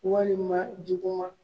Walima jugu ma.